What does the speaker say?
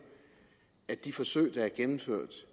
at de forsøg der er gennemført